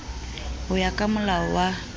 ho ya ka moalo wa